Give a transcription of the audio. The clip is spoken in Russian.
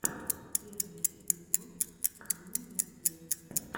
первый эпизод димы гордея